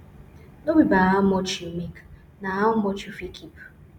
no be by how much you make na how much you fit keep